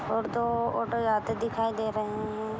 और दो ऑटो जाते दिखाई दे रहे है।